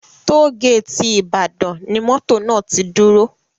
Tollgate Ibadan ni mọ́tò náà ti dúró